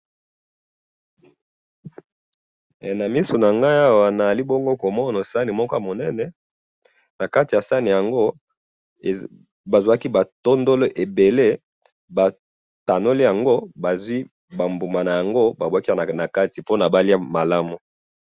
He na misu nangayi awa nazali bongo komona sahani ya moko ya munene nakati ya sahani yango bazwaki ba tondolo ebele bakanoli yango batiye yango na sahani pona baliya yango malamu.